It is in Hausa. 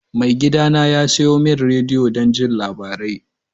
Maigidana ya sayo min rediyo don jin labarai.